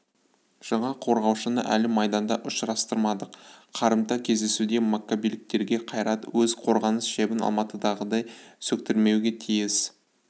жаңа қорғаушыны әлі майданда ұшырастырмадық қарымта кездесуде маккабиліктерге қайрат өз қорғаныс шебін алматыдағыдай сөктірмеуге тиіс